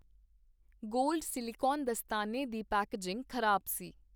Gold silicon ਦਸਤਾਨੇ ਦੀ packaging ਖ਼ਰਾਬ ਸੀ।